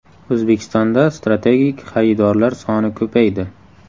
O‘zbekistonda strategik xaridorlar soni ko‘paydi.